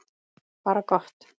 Bara gott.